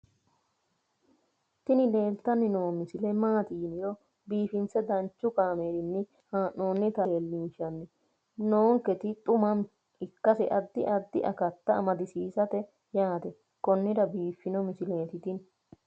tini leeltanni noo misile maaati yiniro biifinse danchu kaamerinni haa'noonnita leellishshanni nonketi xuma ikkase addi addi akata amadaseeti yaate konnira biiffanno misileeti tini